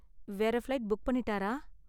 வேற flight book பண்ணிட்டாரா?